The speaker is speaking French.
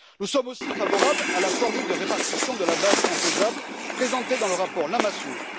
Nous sommes aussi favorables à la formule de répartition de la base imposable présentée dans le rapport Lamassoure.